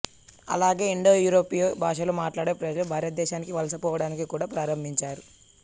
అలాగే ఇండోయూరోపియా భాషలు మాట్లాడే ప్రజలు భారతదేశానికి వలస పోవడాన్ని కూడా ప్రారంభించారు